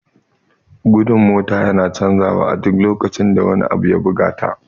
Gudun mota yana canja wa a duk lokacin da wani abu ya buga ta